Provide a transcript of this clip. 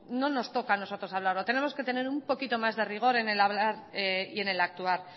no nos toca a nosotros hablarlo tenemos que tener un poquito más de rigor en el hablar y en el actuar